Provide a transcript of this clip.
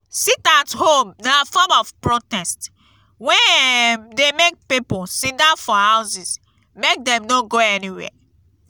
sit at home na form of protest wey um de make pipo sitdown for houses make dem no go anywhere